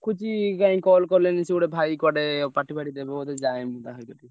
ରଖୁଛି କାଇଁ call କଲେଣି ସେ ଗୋଟେ ଭାଇ କୁଆଡେ party ଫାଟି ଦେବେ ବୋଧେ ଯାଏ ମୁଁ ।